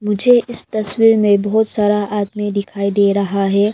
मुझे इस तस्वीर में बहुत सारा आदमी दिखाई दे रहा है।